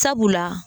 Sabula